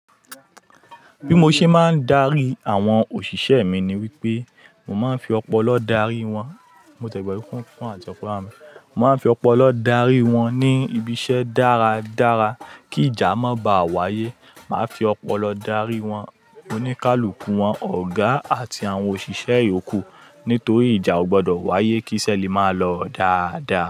Bí mo ṣe máa ń darí àwọn òṣìṣẹ́ mi ni wípé, mo máa ń fi ọpọlọ darí wọn. Mo tiẹ̀ gbàgbe fún àtìkọ́ plan. Mo máa ń fi ọpọlọ darí wọn ní ibi iṣẹ́ dára dára kí ìjà má ba à wáyé. Máa fi ọpọlọ darí wọn, oníkálukú wọn, ọ̀gá àti àwọn òṣìṣẹ́ ìyókù. Nítorí ìjà ò gbọdọ̀ wáyé kí iṣẹ́ lè máa lọ dáadáa.